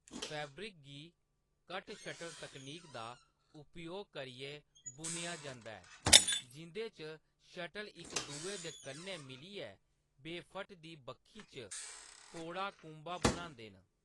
Fabric गी ' cut shuttle तकनीक' दा उपयोग करियै बुनेआ जंदा ऐ, जिं'दे च शटल इक दुए दे कन्नै मिलियै वेफट दी बक्खी च फोड़ा कुंभा बनांदे न।